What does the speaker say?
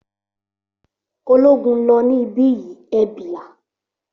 Ológun ló ní ibí yìí, e bilaa